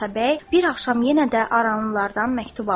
Atabəy bir axşam yenə də aranlılardan məktub aldı.